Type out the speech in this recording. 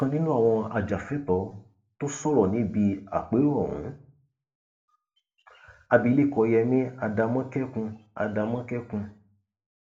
ọkan nínú àwọn ajàfẹtọọ tó tún sọrọ níbi àpérò ohun abilékọ yẹmi adamọ́kékun adamọ́kékun